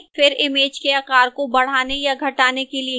फिर image के आकार को बढ़ाने या घटाने के लिए खींचें